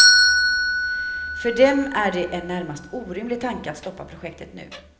För dem är det en närmast orimlig tanke att stoppa projektet nu.